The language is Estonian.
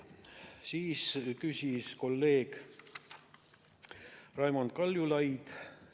Siis küsis kolleeg Raimond Kaljulaid.